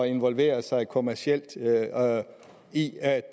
involvere sig kommercielt i at